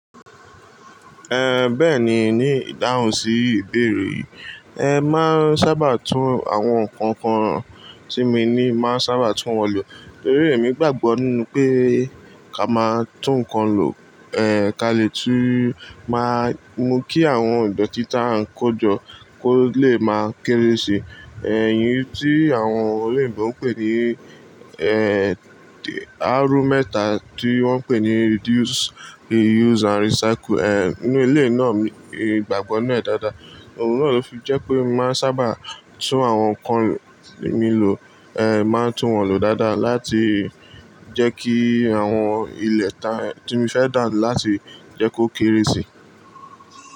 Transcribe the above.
Eh, bẹ́ẹ̀ni ni ìdáhùn sí ìbéèrè. Ẹ máa ń sábà tún àwọn nǹkan kan tí mo ní máa ń sábà tún wọn lò. Nítorí èmi gbàgbọ́ nínú pé ká máa tún nǹkan lò, eh, ká lè tún máa mú kí àwọn ìdọ̀tí tí à ń kó jọ kó lè máa kéré sì. Ẹ̀yin tí àwọn olè ìgbọ̀n ń pè ní, eh, àárù mẹ́ta tí wọ́n ń pè ní reduce, reuse and recycle. Eh, nínú ilé náà mi, ìgbàgbọ́ náà dáadáa. Òun náà ló fi jẹ́ pé mo máa ń sábà tún àwọn nǹkan mi lò, eh, máa tún wọn lò dáadáa láti jẹ́ kí àwọn ilẹ̀ ta tí mo fẹ́ dà láti jẹ́ kó kéré sì.